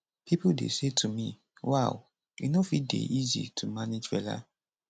pipo dey say to me wow e no fit dey easy to manage fela